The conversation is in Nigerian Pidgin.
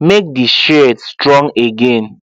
make the shears strong again